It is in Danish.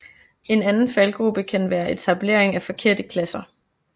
En anden faldgrube kan være etablering af forkerte klasser